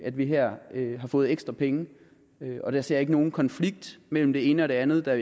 at vi her har fået ekstra penge og jeg ser ikke nogen konflikt mellem det ene og det andet da